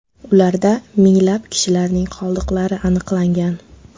Ularda minglab kishilarning qoldiqlari aniqlangan.